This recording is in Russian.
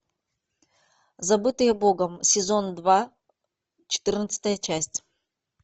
забытые богом сезон два четырнадцатая часть